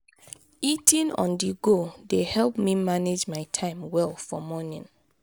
eating on-the-go dey help me manage my time well for morning.